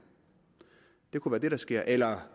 det kunne være det der sker eller